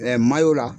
la